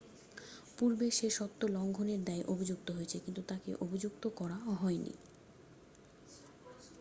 পূর্বেও সে সত্ব লংঘনের দায়ে অভিযুক্ত হয়েছে কিন্তু তাকে অভিযুক্ত করা হয়নি